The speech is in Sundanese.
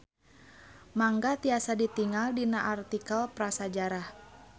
Mangga tiasa ditingal dina artikel Prasajarah.